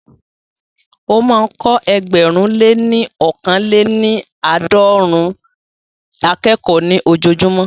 Ó máa ń kọ́ ẹgbẹ̀rún lé ní ọkàn lè ní àádọ́rùn-ún akẹ́kọ̀ọ́ ní ojojúmọ́